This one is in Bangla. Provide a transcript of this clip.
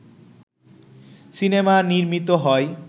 সিনেমা নির্মিত হয়